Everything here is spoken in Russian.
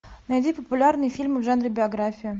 найди популярные фильмы в жанре биография